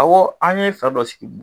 Awɔ, an ye fɛn dɔ sigi